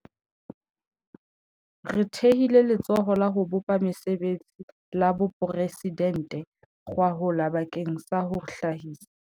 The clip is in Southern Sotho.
Re thehile Letsholo la ho Bopa Mesebetsi la Boporesi dente gwahola bakeng sa ho hlahisa